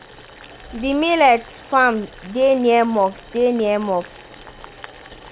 the millet farm deh near mosque. deh near mosque.